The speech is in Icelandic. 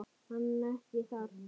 Hann ekki þar.